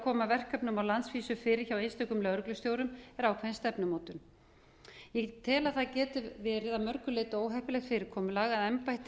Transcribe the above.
koma verkefnum á landsvísu fyrir hjá einstökum lögreglustjórum er ákveðin stefnumótun ég tel að það geti verið að mörgu leyti óheppilegt fyrirkomulag að embætti